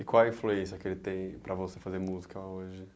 E qual a influência que ele tem para você fazer música hoje?